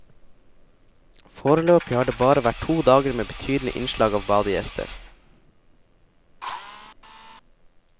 Foreløpig har det bare vært to dager med betydelig innslag av badegjester.